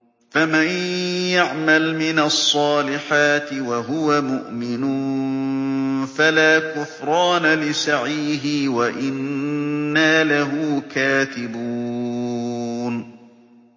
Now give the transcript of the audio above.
فَمَن يَعْمَلْ مِنَ الصَّالِحَاتِ وَهُوَ مُؤْمِنٌ فَلَا كُفْرَانَ لِسَعْيِهِ وَإِنَّا لَهُ كَاتِبُونَ